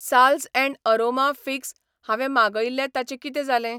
साल्झ and aroma figs हावें मागयिल्लें ताचें कितें जालें?